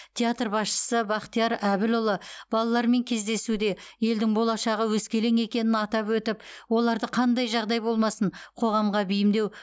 театр басшысы бахтияр әбілұлы балалармен кездесуде елдің болашағы өскелең екенін атап өтіп оларды қандай жағдай болмасын қоғамға бейімдеу